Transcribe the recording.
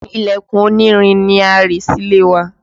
Ilẹ̀kùn onírin ni a rì sílé wa